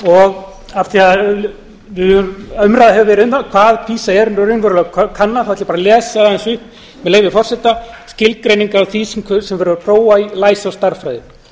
og af því að umræða hefur verið um það hvað pisa er raunverulega að kanna ætla ég bara að lesa aðeins upp með leyfi forseta skilgreiningar á því sem verið er að prófa í læsi og stærðfræði